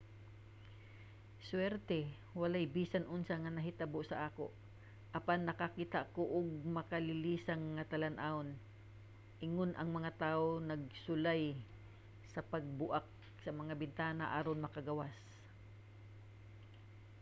"suwerte walay bisan unsa nga nahitabo sa ako apan nakakita ko og makalilisang nga talan-awon ingon ang mga tawo nagsulay sa pagbuak sa mga bintana aron makagawas.